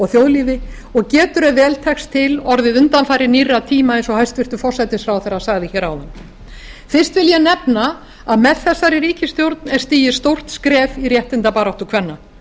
þjóðlífi og getur ef vel tekst til orðið undanfari nýrra tíma eins og hæstvirtur forsætisráðherra sagði hér áðan fyrst vil ég nefna að með þessari ríkisstjórn er stigið stórt skref í réttindabaráttu kvenna